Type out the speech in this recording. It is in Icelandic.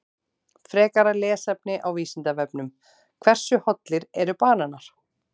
Frekara lesefni á Vísindavefnum: Hversu hollir eru bananar?